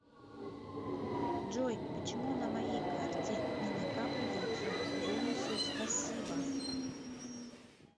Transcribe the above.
джой почему на моей карте не накапливаются бонусы спасибо